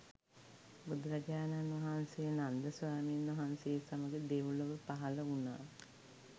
බුදුරජාණන් වහන්සේ නන්ද ස්වාමීන් වහන්සේ සමඟ දෙව්ලොව පහළවුනා